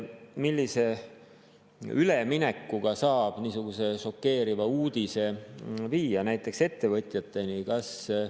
Millise üleminekuga saab niisuguse šokeeriva uudise viia näiteks ettevõtjateni?